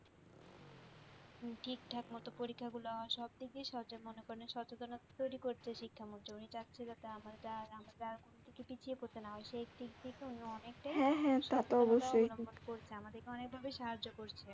ঠিকঠাক মত পরীক্ষা গুলো সব দিক দিয়ে সহজ মনে করে সচেতন তৈরি করতে শিক্ষা ও জমিটা ঠিক আছে আমার এটা পিছিয়ে পড়ছে না অনেকটাই হ্যাঁ হ্যাঁ তা তো অবশ্যই আমাদেরকে অনেকভাবে সাহায্য করছে।